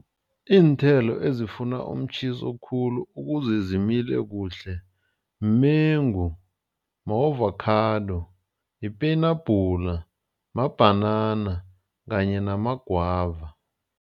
Iinthelo ezifuna umtjhiso khulu ukuze zimile kuhle mengu, ma-avokhado, yipenabhula, mabhanana kanye namagwava.